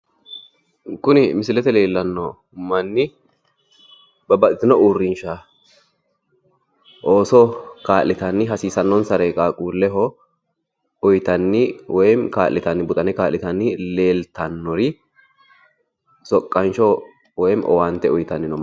Kuni misilete leellanno manni babbaxxitino uurrinsha ooso kaa'litanni hasiisannonsare qaaqquulleho uyitanni woyi kaa'litanni buxane kaa'litanni leeltannori soqqansho woyi owaante uyitanni no.